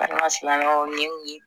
Baliman silamɛw ye mun ye